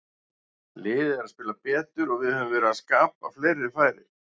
Liðið er að spila betur og við höfum verið að skapa fleiri færi.